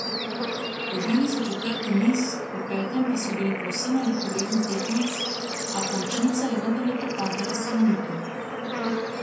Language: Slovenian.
Dobili so četrti niz, v petem pa bili povsem enakovreden tekmec, a končnica je vendarle pripadla Salonitu.